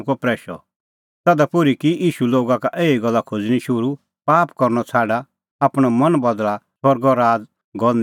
तधा पोर्ही की ईशू लोगा का एही गल्ला खोज़णीं शुरू पाप करनअ छ़ाडा आपणअ मन बदल़ा स्वर्गो राज़ गअ नेल़ एछी